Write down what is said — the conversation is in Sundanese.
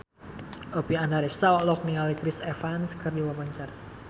Oppie Andaresta olohok ningali Chris Evans keur diwawancara